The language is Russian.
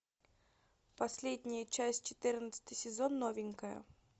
последняя часть четырнадцатый сезон новенькая